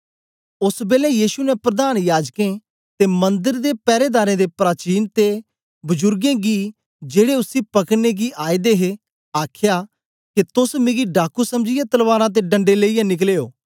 ओस बेलै यीशु ने प्रधान याजकें ते मंदर दे पैरेदारें दे प्राचीन ते बजुरगें गी जेड़े उसी पकड़ने गी आए दे हे आखया के तोस मिगी डाकू समझीयै तलवारां ते डंडे लेईयै निकले ओ